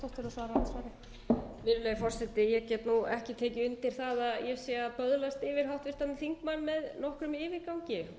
í þeirri umræðu sem ég fór með og snerist meðal annars um fjölmiðla þá liggur fyrir